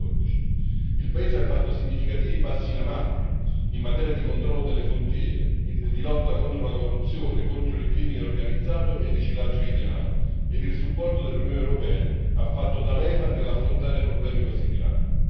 2014. Il paese ha fatto significativi passi in avanti in materia di controllo delle frontiere, di lotta contro la corruzione, contro il crimine organizzato e il riciclaggio di denaro e il supporto dell'Unione europea ha fatto da leva nell'affrontare problemi così gravi.